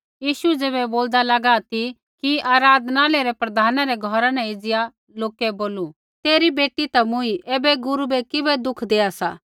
यीशु ज़ैबै बोलदा लागा ती कि आराधनालय रै प्रधाना रै घौरा न एज़िया लोकै बोलू तेरी बेटी ता मूँई ऐबै गुरू बै किबै दुख देआ सा